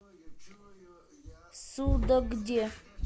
судогде